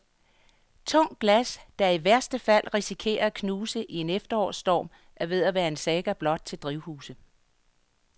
Tungt glas, der i værste fald risikerer at knuses i en efterårsstorm, er ved at være en saga blot til drivhuse.